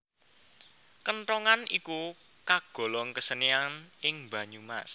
Kenthongan iku kagolong kesenian ing Banyumas